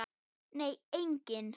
Nei, enginn